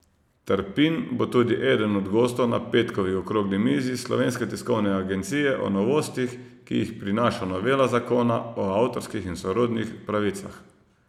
Trpin bo tudi eden od gostov na petkovi okrogli mizi Slovenske tiskovne agencije o novostih, ki jih prinaša novela Zakona o avtorskih in sorodnih pravicah.